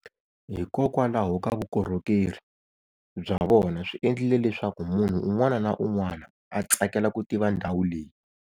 Hikokwalaho ka vukorhekeri bya vona swi endlile leswaku munhu unw'ana na unw'ana a tsakela ku tiva ndhawu leyi.